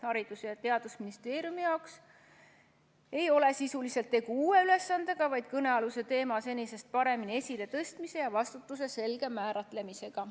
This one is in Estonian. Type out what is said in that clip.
Haridus- ja Teadusministeeriumi jaoks ei ole sisuliselt tegu uue ülesandega, vaid kõnealuse teema senisest paremini esiletõstmise ja vastutuse selge määratlemisega.